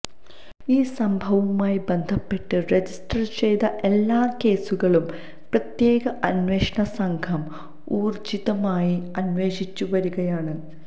ഈ സംഭവവുമായി ബന്ധപ്പെട്ട് രജിസ്റ്റര് ചെയ്ത എല്ലാ കേസുകളും പ്രത്യേക അന്വേഷണ സംഘം ഊര്ജ്ജിതമായി അന്വേഷിച്ചുവരികയാണ്